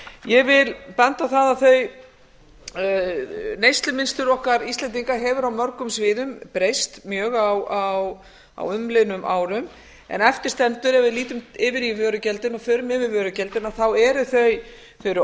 ég vil benda á það að neyslumunstur okkar íslendinga hefur á mörgum sviðum breyst mjög á umliðnum árum en eftir stendur að ef við lítum yfir í vörugjöldin og förum yfir vörugjöldin eru þau ógegnsæ